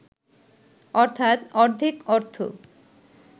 অর্থাৎ অর্ধেক অর্থ